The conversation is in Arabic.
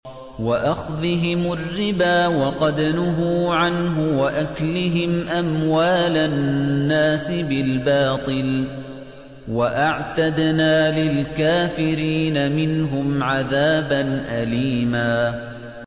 وَأَخْذِهِمُ الرِّبَا وَقَدْ نُهُوا عَنْهُ وَأَكْلِهِمْ أَمْوَالَ النَّاسِ بِالْبَاطِلِ ۚ وَأَعْتَدْنَا لِلْكَافِرِينَ مِنْهُمْ عَذَابًا أَلِيمًا